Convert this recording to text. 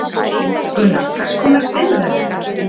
Gunnar, hvers konar byggð verður þetta?